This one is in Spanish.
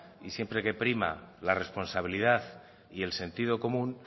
y siempre que prima la responsabilidad y el sentido común